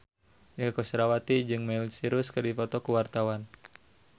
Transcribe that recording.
Inneke Koesherawati jeung Miley Cyrus keur dipoto ku wartawan